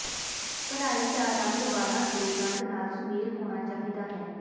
ਭਰਾਈ ਦਾ ਰੰਗ ਵਾਲਾਂ ਦੇ ਰੰਗ ਨਾਲ ਸੁਮੇਲ ਹੋਣਾ ਚਾਹੀਦਾ ਹੈ